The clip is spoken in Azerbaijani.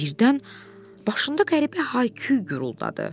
Birdən başında qəribə hay-küy guruldadı.